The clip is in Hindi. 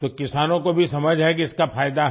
तो किसानों को भी समझ है कि इसका फायदा है